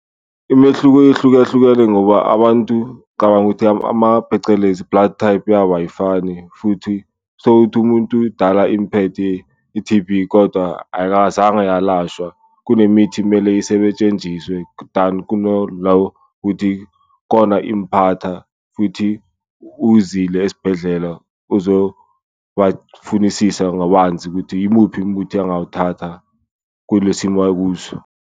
Imehluko yehlukahlukene ngoba abantu ngicabanga ukuthi phecelezi ama-bloodtype yabo ayifani futhi tholukuthi umuntu dala imphethe i-T_B kodwa ayikazange yalashwa. Kunemithi kumele than kona impatha futhi uzile esibhedlela, ozobafunisisa kabanzi ukuthi yimuphi umuthi angawuthatha kule simo akuso.